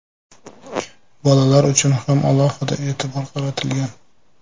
Bolalar uchun ham alohida e’tibor qaratilgan.